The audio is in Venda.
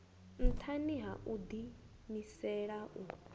nṱhani ha u ḓiimisela u